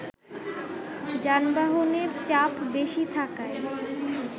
যানবাহনের চাপ বেশী থাকায়